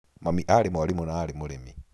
Mami aarĩ mwarimũ na aarĩ mũrĩmi.